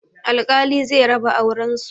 Alkali zai raba auren su